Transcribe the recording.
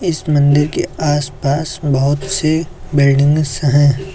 इस मंदिर के आसपास बहुत से बिल्डिंग्स है।